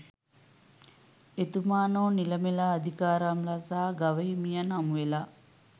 එතුමානෝ නිලමෙලා අධිකාරම්ලා සහ ගවහිමියන් හමුවෙලා